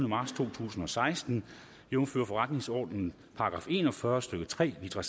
marts to tusind og seksten jævnfør forretningsordenens § en og fyrre stykke tre litra